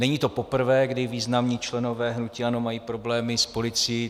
Není to poprvé, kdy významní členové hnutí ANO mají problémy s policií.